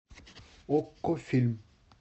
окко фильм